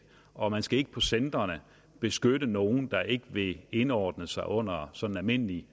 og man skal ikke på centrene beskytte nogen der ikke vil indordne sig under sådan almindelige